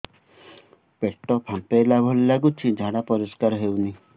ପେଟ ଫମ୍ପେଇଲା ଭଳି ଲାଗୁଛି ଝାଡା ପରିସ୍କାର ହେଉନି